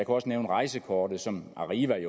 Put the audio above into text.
også nævne rejsekortet som arriva